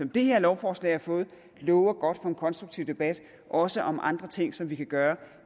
det her lovforslag har fået lover godt for en konstruktiv debat også om andre ting som vi kan gøre